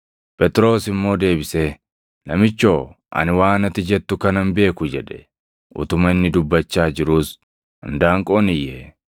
Phexros immoo deebisee, “Namichoo, ani waan ati jettu kana hin beeku” jedhe. Utuma inni dubbachaa jiruus indaanqoon iyye.